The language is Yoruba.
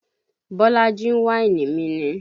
Bolaji ń wáìnì mi ni